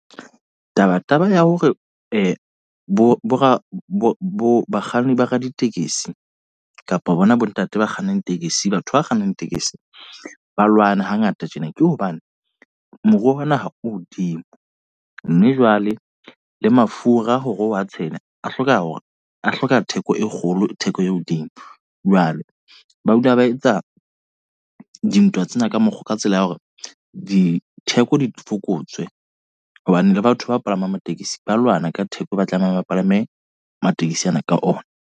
Taba taba ya hore bo bo ra bo bakganni ba raditekesi kapa bona bo ntate ba kgannang tekesi. Batho ba kgannang tekesi, ba lwane ha ngata tjena. Ke hobane moruo wa naha o hodimo. Mme jwale le mafura hore wa tshele, a hloka hore a hloka theko e kgolo theko e hodimo. Jwale ba dula ba etsa dintwa tsena ka mokgo ka tsela ya hore ditheko di fokotswe. Hobane le batho ba palamang tekesi ba lwana ka theko e ba tlamehang bapalame matekesi ana ka ona.